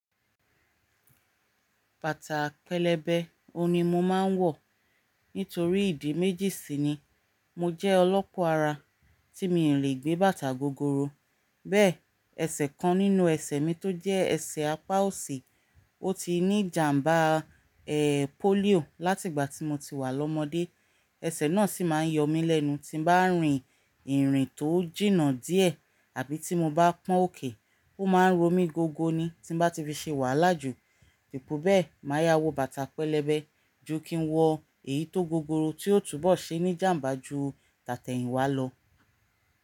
Bàtà pẹlẹbẹ ohun o ni mo máa ń wọ̀ nítorí ìdí méjì sí ni. Mo jẹ́ ọlọ́pọ́ ara tí mi ò lè gbé bàtà gogoro. Bẹ́ẹ̀, ẹsẹ̀ kan nínú ẹsẹ̀ mi tó jẹ́ ẹsẹ̀ apá òsì, ó ti ní ìjàmbá, ẹ́, polio láti ìgbà tí mo ti wà lọ́mọdé. Ẹsẹ̀ náà sì máa ń yọ mí lẹ́nu tí bá ń rin ìrìn tó jìnnà díẹ̀ àbí tí mo bá pọ́n òkè. Ó máa ń ro mí gogo ni tí bá ti fi ṣe wàhálà jù. Ipò bẹ́ẹ̀, màá ya wo bàtà pẹlẹbẹ ju kí n wọ èyí tó gogoro tí yóò túbọ̀ ṣe ní ìjàmbá ju tàtẹ̀yìnwá lọ.